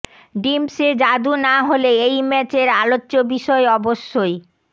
ডিম্পসে জাদু না হলে এই ম্যাচের আলোচ্য বিষয় অবশ্যই